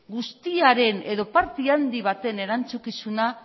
guztiaren edo parte handi baten erantzukizuna